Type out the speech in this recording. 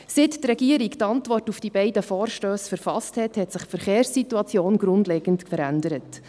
Seitdem die Regierung die Antwort auf die beiden Vorstösse verfasst hat, hat sich die Verkehrssituation grundlegend verändert.